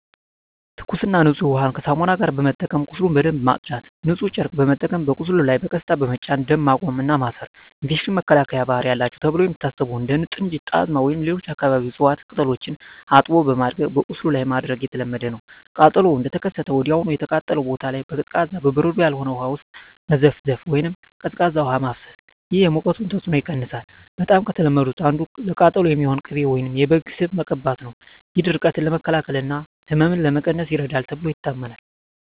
ትኩስና ንጹህ ውሃን ከሳሙና ጋር በመጠቀም ቁስሉን በደንብ ማጽዳት። ንጹህ ጨርቅ በመጠቀም በቁስሉ ላይ በቀስታ በመጫን ደም ማቆም እና ማሰር። የኢንፌክሽን መከላከያ ባህሪ አላቸው ተብለው የሚታሰቡ እንደ ጥንጁት፣ ጣዝማ ወይም ሌሎች የአካባቢው እፅዋት ቅጠሎችን አጥቦ በማድቀቅ በቁስሉ ላይ ማድረግ የተለመደ ነው። ቃጠሎው እንደተከሰተ ወዲያውኑ የተቃጠለውን ቦታ በቀዝቃዛ (በበረዶ ያልሆነ) ውሃ ውስጥ መዘፍዘፍ ወይም ቀዝቃዛ ውሃ ማፍሰስ። ይህ የሙቀቱን ተጽዕኖ ይቀንሳል። በጣም ከተለመዱት አንዱ ለቃጠሎ የሚሆን ቅቤ ወይም የበግ ስብ መቀባት ነው። ይህ ድርቀትን ለመከላከል እና ህመምን ለመቀነስ ይረዳል ተብሎ ይታመናል።